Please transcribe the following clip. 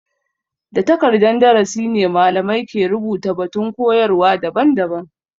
Da takardan darasi ne malamai ke rubuta batun koyarwa daban-daban.